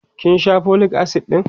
kin Sha folic acid ɗin?